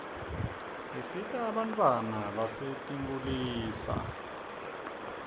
isita bantfwana basetinkulisa